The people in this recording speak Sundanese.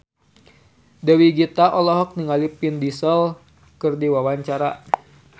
Dewi Gita olohok ningali Vin Diesel keur diwawancara